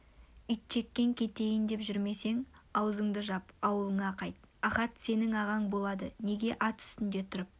итжеккен кетейін деп жүрмесең аузыңды жап аулыңа қайт ахат сенің ағаң болад неге ат үстінде тұрып